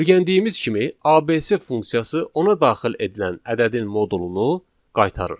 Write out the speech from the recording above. Öyrəndiyimiz kimi ABS funksiyası ona daxil edilən ədədin modulunu qaytarır.